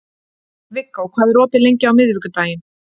Viggó, hvað er opið lengi á miðvikudaginn?